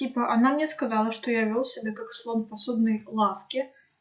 типа она мне сказала что я вёл себя как слон в посудной лавке